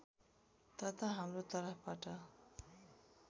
तथा हाम्रो तर्फबाट